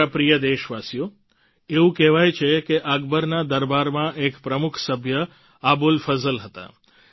મારા પ્રિય દેશવાસીઓ એવું કહેવાય છે કે અકબરના દરબારમાં એક પ્રમુખ સભ્ય અબુલ ફઝલ હતા